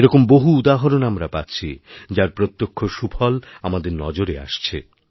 এরকম বহুউদাহরণ আমরা পাচ্ছি যার প্রত্যক্ষ সুফল আমাদের নজরে আসছে